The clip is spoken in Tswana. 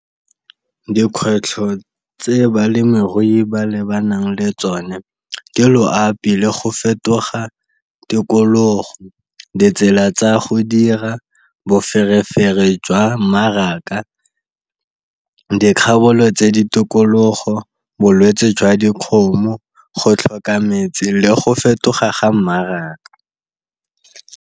Dikgwetlho tse balemirui ba lebanang le tsone ke loapi le go fetoga tikologo, ditsela tsa go dira, boferefere jwa mmaraka, tse ditokologo, bolwetse jwa dikgomo, go tlhoka metsi le go fetoga ga mmaraka.